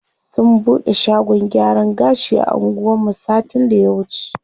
Sun bude shagon gyaran gashi a anguwan mu satin da ya wuce.